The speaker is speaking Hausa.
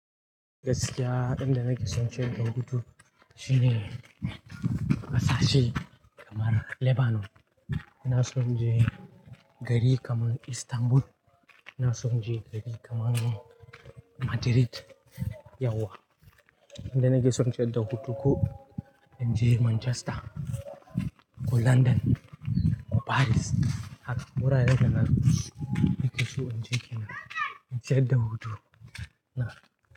Gaskiya inda nake son inje in dan hutushine kasashe kamar Lebanon. Ina son inje gari kamar Istanbul. Ina son je gari kamar Madrid. Yauwa. Inda nake son inje inta hutu ko in je Manchester ko London ko Paris. Haka. Wuraren da nakeso. Nakeso inje kenan inta yin hutu. Na.